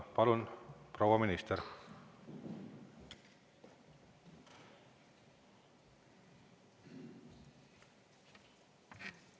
Palun, proua minister!